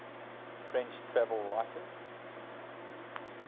french travel writers